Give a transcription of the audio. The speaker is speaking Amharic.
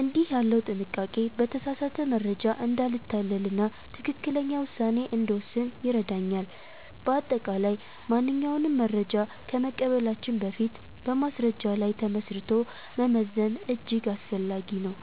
እንዲህ ያለው ጥንቃቄ በተሳሳተ መረጃ እንዳንታለልና ትክክለኛ ውሳኔ እንድንወስን ይረዳናል። በአጠቃላይ፣ ማንኛውንም መረጃ ከመቀበላችን በፊት በማስረጃ ላይ ተመስርቶ መመዘን እጅግ አስፈላጊ ነው።